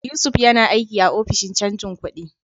Yusuf yana aiki a Ofishin Canjin Kudi.